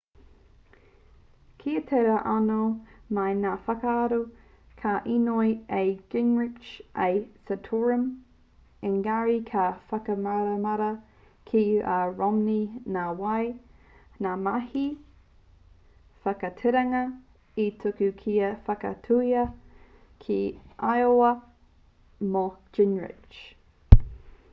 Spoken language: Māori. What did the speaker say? kia tae rā anō mai ngā whakatau ka īnoi a gingrich ki a santorum engari ka whakatāmaramara ki a romney nā wai ngā mahi whakatairanga hē i tuku kia whakaatuhia ki iowa mō gingrich